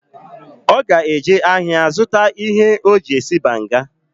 Oga eje ahia zuta ihe oji esi banga.